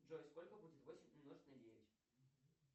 джой сколько будет восемь умножить на девять